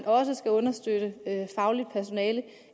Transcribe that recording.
også skal understøtte det faglige personale